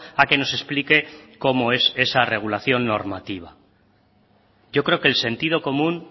a que nos explique cómo es esa regulación normativa yo creo que el sentido común